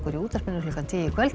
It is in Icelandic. í útvarpinu klukkan tíu í kvöld